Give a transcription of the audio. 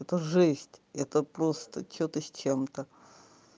это жесть это просто что-то с чем-то